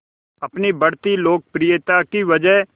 अपनी बढ़ती लोकप्रियता की वजह